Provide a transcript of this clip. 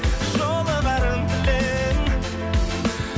жолығарын күтем